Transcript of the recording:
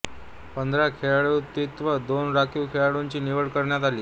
पंधरा खेळाडूंव्यतिरिक्त दोन राखीव खेळाडूंची निवड करण्यात आली